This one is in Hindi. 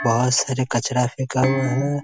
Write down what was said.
बहुत सारे कचड़ा फेका हुआ है।